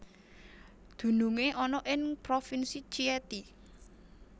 Dunungé ana ing Provinsi Chieti